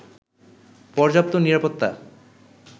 পর্যাপ্ত নিরাপত্তা